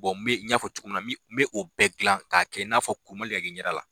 me n ɲ'a fɔ cogo min na min, n mɛ, n mi o bɛɛ gilan k'a kɛ i n'afɔ fɔ kuru ma deli ka k'i ɲɛ da la